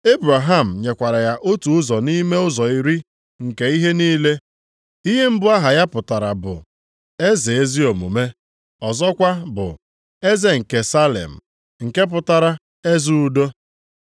Ebraham nyekwara ya otu ụzọ nʼime ụzọ iri nke ihe niile. Ihe mbụ aha ya pụtara bụ, “eze ezi omume,” ọzọkwa bụ “eze nke Salem,” nke pụtara, “eze udo.”